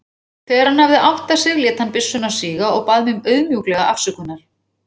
Þegar hann hafði áttað sig lét hann byssuna síga og bað mig auðmjúklega afsökunar.